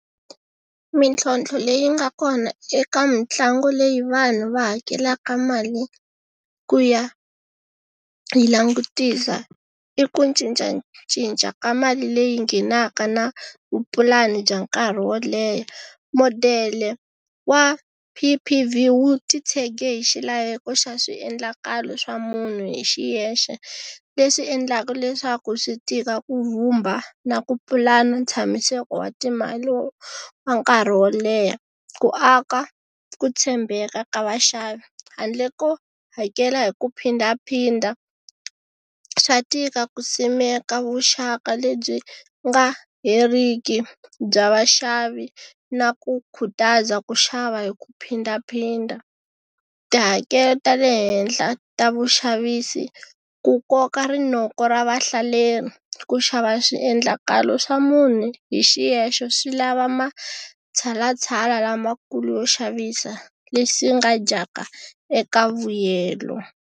Mintlhotlho leyi nga kona eka mitlangu leyi vanhu va hakelaka mali, ku ya, yi langutisa, i ku cincacinca ka mali leyi nghenaka na vupulani bya nkarhi wo leha. Modele wa P_P_V wu ti tshege hi xilaveko xa swiendlakalo swa munhu hi xiyexe. Leswi endlaka leswaku swi tika vhumba na ku pulana tshamiseko wa timali wa nkarhi wo leha. Ku aka, ku tshembeka ka vaxavi, handle ko hakela hi ku phindaphinda. Swa tika ku simeka vuxaka lebyi nga heriki bya vaxavi na ku khutaza ku xava hi ku phindaphinda. Tihakelo ta le henhla ta vuxavisi, ku koka rinoko ra vahlaleri, ku xava swiendlakalo swa munhu hi xiyexe swi lava matshalatshala lamakulu yo xavisa leswi nga dyaka eka vuyelo.